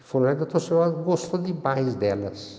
E foram lá e o doutor falou, '' Ah, gostei demais delas''.